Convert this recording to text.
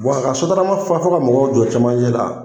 Wa a ka sotarama fa fo ka mɔgɔw jɔ cɛmancɛ la,